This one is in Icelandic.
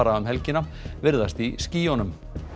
um helgina virðast í skýjunum